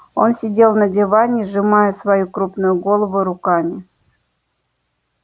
он сидел на диване сжимая свою крупную голову руками